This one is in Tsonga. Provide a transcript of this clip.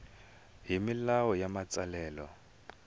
ya hi milawu ya matsalelo